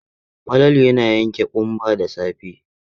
Falalu ya yanke ƙumba da safe.